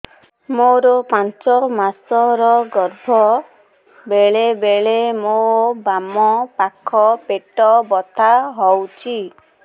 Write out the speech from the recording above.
ମୋର ପାଞ୍ଚ ମାସ ର ଗର୍ଭ ବେଳେ ବେଳେ ମୋ ବାମ ପାଖ ପେଟ ବଥା ହଉଛି